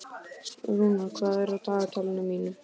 Rúnar, hvað er á dagatalinu mínu í dag?